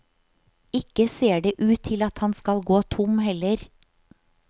Ikke ser det ut til at han skal gå tom heller.